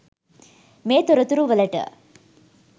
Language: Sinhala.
මේ තොරතුරු වලට